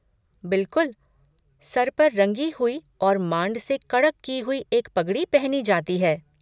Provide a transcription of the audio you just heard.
बिलकुल! सर पर रंगी हुई और मांड से कड़क कि हुई एक पगड़ी पहनी जाती है।